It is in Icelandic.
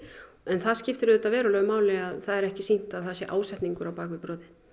en það skiptir auðvitað verulegu máli að það er ekki sýnt að það sé ásetningur á bak við brotið